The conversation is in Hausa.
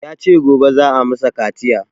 Ya ce gobe za a masa kaciya